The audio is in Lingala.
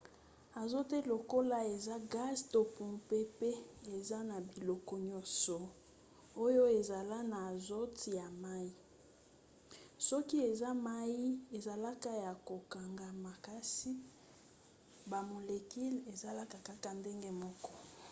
azote lokola eza gaz to mopepe eza na biloko nyonso oyo ezala na azote ya mai. soki eza mai ezalaka ya kokangama kasi bamolecule ezalaka kaka ndenge moko